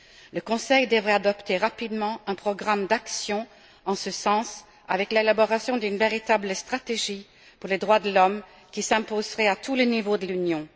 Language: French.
Le Conseil devrait adopter rapidement un programme d'action en ce sens, avec l'élaboration d'une véritable stratégie pour les droits de l'homme, qui s'imposerait à tous les niveaux de l'Union.